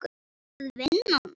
Er það vinnan?